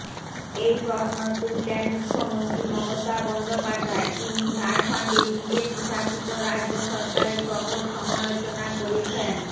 এই প্রশ্ন তুললেন মুখ্যমন্ত্রী মমতা বন্দ্যোপাধ্যায় তিনি ঝাড়খণ্ডের বিজেপি শাসিত রাজ্য সরকারের প্রবল সমালোচনা করেছেন